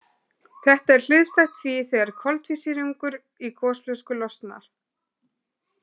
Þetta er hliðstætt því þegar koltvísýringur í gosflösku losnar.